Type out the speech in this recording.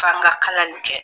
K'an ka kalali kɛ